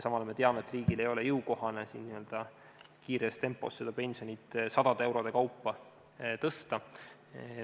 Samal ajal me teame, et riigile ei ole jõukohane pensionit kiires tempos sadade eurode kaupa tõsta.